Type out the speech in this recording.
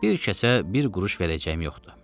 Bir kəsə bir quruş verəcəyim yoxdur.